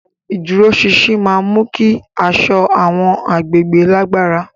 Ìdúróṣinṣin máa ń mú kí aṣọ àwọn agbègbè lágbára.